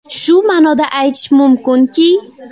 Shu ma’noda aytish mumkinki.